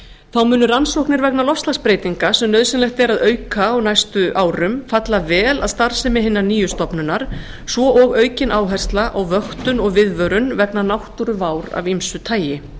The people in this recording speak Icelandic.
þá munu rannsóknir vegna loftslagsbreytinga sem nauðsynlegt er að auka á næstu árum falla vel að starfsemi hinnar nýju stofnunar svo og aukin áhersla á vöktun og viðvörun vegna náttúruvár af ýmsu tagi